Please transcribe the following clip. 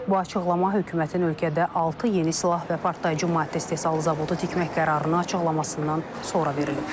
Bu açıqlama hökumətin ölkədə altı yeni silah və partlayıcı maddə istehsalı zavodu tikmək qərarını açıqlamasından sonra verilib.